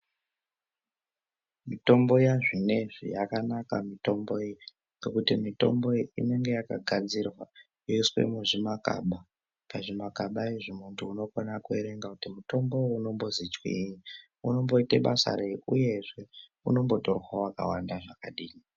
Mitombo yazvinezvi yakanaka mitombo iyi ngekuti mitombo iyi inenge yakagadzirwa yoiswe muzvimakaba pazvimakaba izvi muntu unokona kuerenga kuti mutombo uyu unombozi chwiinyi , unomboite basa reyi uyezve unombotorwa wakawanda zvakadii